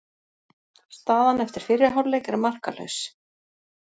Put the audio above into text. Staðan eftir fyrri hálfleik er markalaus